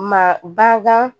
Ma bakan